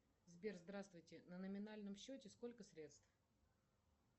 сбер здравствуйте на номинальном счете сколько средств